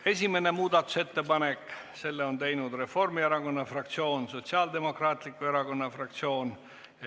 Esimene muudatusettepanek, selle on teinud Reformierakonna fraktsioon ja Sotsiaaldemokraatliku Erakonna fraktsioon.